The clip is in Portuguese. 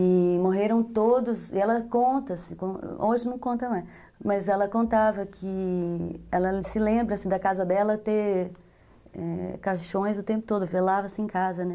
E morreram todos, e ela conta, hoje não conta mais, mas ela contava que ela se lembra da casa dela ter, é, caixões o tempo todo, velava-se em casa, né?